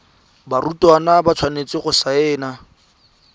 barutwana ba tshwanetse go saena